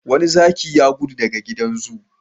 Wani zaki ya gudu daga gidan zoo.